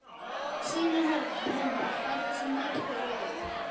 Synir hennar færðu sig nær hver öðrum.